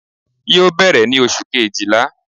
yóò berè ni oṣú kéjíla